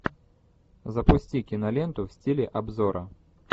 запусти киноленту в стиле обзора